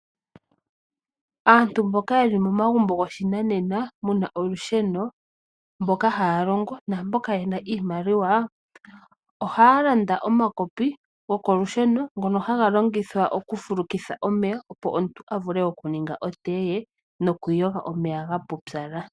Aantu mboka ye li momagumbo goshinanena, mu na olusheno, mboka haa longo naamboka ye na iimaliwa, ohaa landa omakopi gokokusheno ngono haga longithwa oku fulukitha omeya, opo omuntu a vule oku ninga otee, nokwiiyoga omeya ga pupyala.